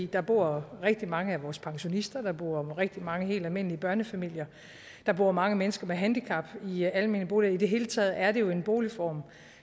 der bor rigtig mange af vores pensionister der bor rigtig mange helt almindelige børnefamilier og der bor mange mennesker med handicap i almene boliger i det hele taget er det jo en boligform